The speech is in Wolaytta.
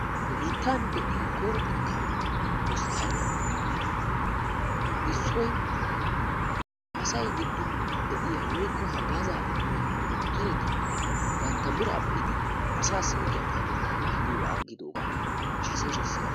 Nu biittan de'iya koyro xekka hospitaaliya issoy asay giddon de'iya woykko haggaaza immiya dokiteriti bantta bira beidi asasi deiya payatetta naagiyoga aggidoga haasayishin beasi.